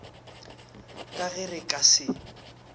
ka ge re ka se